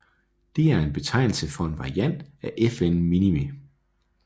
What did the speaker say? Det er en betegnelse for en variant af FN Minimi